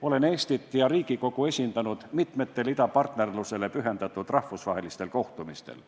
Olen Eestit ja Riigikogu esindanud mitmetel idapartnerlusele pühendatud rahvusvahelistel kohtumistel.